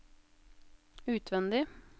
utvendig